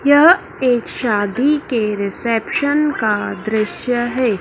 यह एक शादी के रिसेप्शन का दृश्य है।